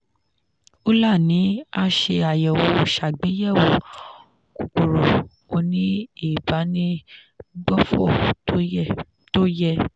euler ni a ṣe àyẹ̀wò ṣàgbéyẹ̀wò kòkòrò ó ní ìbánigbófò tó yẹ.